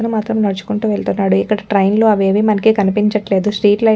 ఎక్కతను మాత్రం నడుచుకుంటూ వెళ్తున్నాడు ఇక్కడ ట్రెయిన్ లు అవి ఏమి మనకు కనిపించట్లేదు స్ట్రీట్ లైట్ అవి కూడా.